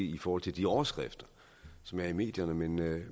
i forhold til de overskrifter som er i medierne men det